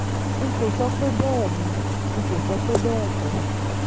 n kò sọ pé bẹ́ẹ̀ ni n kò sọ pé bẹ́ẹ̀ kọ́